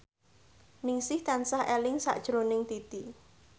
Ningsih tansah eling sakjroning Titi